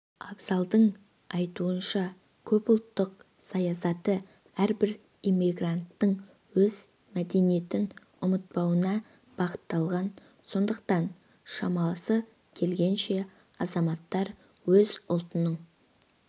абзалдың айтуынша көпұлттық саясаты әрбір иммигранттың өз мәдениетін ұмытпауына бағытталған сондықтан шамасы келген азаматтар өз ұлтының